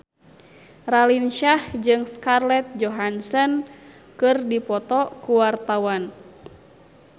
Raline Shah jeung Scarlett Johansson keur dipoto ku wartawan